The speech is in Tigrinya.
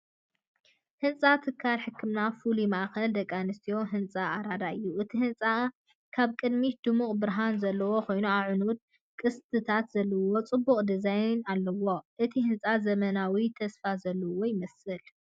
ህንጻ ትካል ሕክምና "ፍሉይ ማእከል ደቂ ኣንስትዮን ህጻናትን ኣራዳ" እዩ። እቲ ህንጻ ካብ ቅድሚት ድሙቕ ብርሃን ዘለዎ ኮይኑ፡ ኣዕኑድን ቅስትታትን ዘለዎ ጽቡቕ ዲዛይን ኣለዎ። እቲ ህንጻ ዘመናውን ተስፋ ዘለዎን ይመስል።